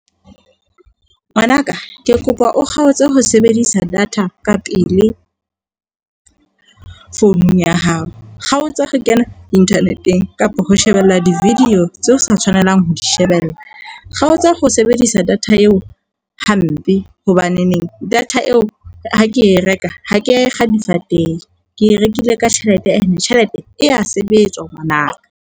Ngwana ka, ke kopa o kgaotse ho sebedisa data ka pele founung ya hao. Kgaotsa ho kena internet-eng kapa ho shebella di-video tseo sa tshwanelang ho di shebella. Kgaotsa ho sebedisa data eo hampe hobaneneng data eo ha ke e reka ha ke e kga difateng. Ke e rekile ka tjhelete, ene tjhelete e ya sebetswa ngwana ka.